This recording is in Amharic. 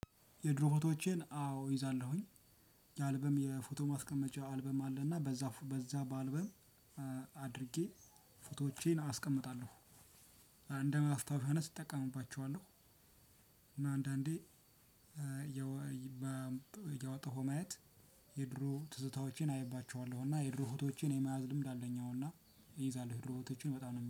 የድሮ ፎቶዎቼን አዎ ይዛለሁኝ። የአልበም የፎቶ ማስቀመጫ አልበም አለና በዛ በዛ በአልበም አድርጌ ፎቶዎቼን አስቀምጣለሁ። እንደማስታወሻነት እጠቀምባቸዋለሁ። እና አንዳንዴ። ያወጣኸው ማየት የድሮ ትዝታዎቼን አይባቸዋለሁና የድሮ ፎቶዎቼን የመያዝ ልምድ አለኝ። አሁንና እይዛለሁ የድሮ ፎቶዎቼን በጣም